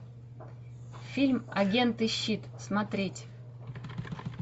фильм агенты щит смотреть